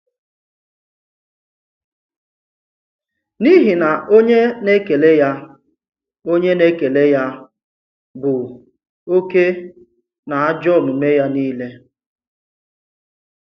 N’ihi na onye nḕkèlè ya onye nḕkèlè ya bụ̀ òkè n’àjọ omume-ya niile.